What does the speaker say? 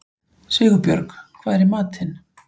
Sigurbjörg, hvað er í matinn?